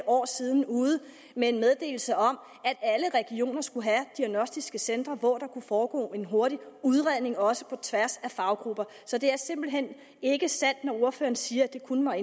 et år siden ude med en meddelelse om at skulle have diagnostiske centre hvor der kunne foregå en hurtig udredning også på tværs af faggrupper så det er simpelt hen ikke sandt når ordføreren siger at det kun var